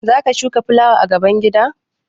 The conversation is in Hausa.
Za ka shuka fulawa a gaban gida?